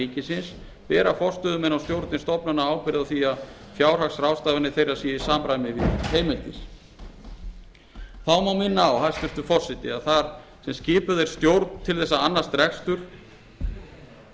ríkisins bera forstöðumenn og stjórnir stofnana ábyrgð á því að fjárhagsráðstafanir þeirra séu í samræmi við heimildir þá má minna á hæstvirtur forseti að þar sem skipuð er stjórn til þess að annast rekstur og